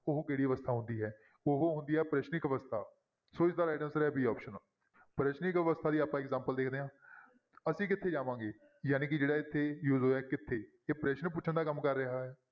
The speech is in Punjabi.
ਉਹ ਕਿਹੜੀ ਅਵਸਥਾ ਹੁੰਦੀ ਹੈ ਉਹ ਹੁੰਦੀ ਹੈ ਪ੍ਰਸ਼ਨਿਕ ਅਵਸਥਾ, ਸੌ ਇਸਦਾ right answer ਹੈ b option ਪ੍ਰਸ਼ਨਿਕ ਅਵਸਥਾ ਦੀ ਆਪਾਂ example ਦੇਖਦੇ ਹਾਂ ਅਸੀਂ ਕਿੱਥੇ ਜਾਵਾਂਗੇ? ਜਾਣੀ ਕਿ ਜਿਹੜਾ ਇੱਥੇ use ਹੋਇਆ ਕਿੱਥੇ, ਇਹ ਪ੍ਰਸ਼ਨ ਪੁੱਛਣ ਦਾ ਕੰਮ ਕਰ ਰਿਹਾ ਹੈ।